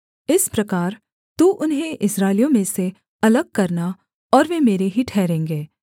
इस प्रकार तू उन्हें इस्राएलियों में से अलग करना और वे मेरे ही ठहरेंगे